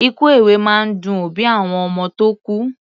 Ikú èwe máa ń dun òbí àwọn ọmọ tó kú.